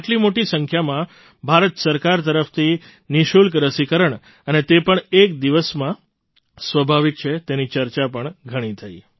આટલી મોટી સંખ્યામાં ભારત સરકાર તરફથી નિઃશુલ્ક રસીકરણ અને તે પણ એક દિવસમાં સ્વાભાવિક છે તેની ચર્ચા પણ ઘણી થઈ